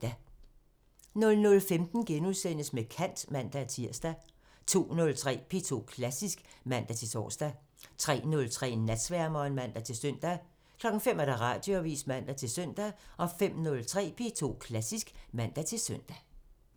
00:15: Med kant *(man-tir) 02:03: P2 Klassisk (man-tor) 03:03: Natsværmeren (man-søn) 05:00: Radioavisen (man-søn) 05:03: P2 Klassisk (man-søn)